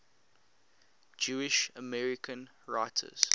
jewish american writers